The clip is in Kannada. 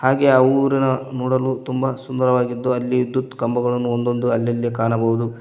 ಹಾಗೇ ಆ ಊರಿನ ನೋಡಲು ತುಂಬಾ ಸುಂದರವಾಗಿದ್ದು ಅಲ್ಲಿ ವಿದ್ಯುತ್ ಕಂಬಗಳನ್ನು ಒಂದೊಂದು ಅಲ್ಲಲ್ಲಿ ಕಾಣಬಹುದು.